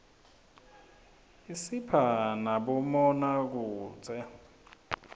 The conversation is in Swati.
isipha nabomabonakudze